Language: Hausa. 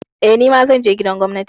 Eh, nima zan je gidan gwamnati.